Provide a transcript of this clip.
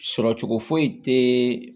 Sɔrɔ cogo foyi tɛ